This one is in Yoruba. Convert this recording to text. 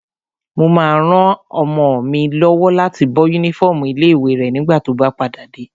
Mo máa ran ọmọ mi lọ́wọ́ láti bọ́ yúnífọ́ọ̀mù ilé-ìwé rẹ̀ nígbà tó bá padà dé